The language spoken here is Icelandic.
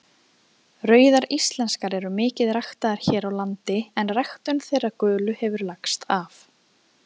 Rauðar íslenskar eru mikið ræktaðar hér á landi en ræktun þeirra gulu hefur lagst af.